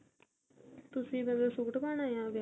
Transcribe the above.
ਤੁਸੀਂ ਮਤਲਬ suite ਪਾਣਾ ਵਿਆਹ ਤੇ